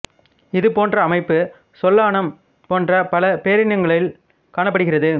இது போன்ற அமைப்பு சொலானம் போன்ற பல பேரினங்களில் காணப்படுகிறது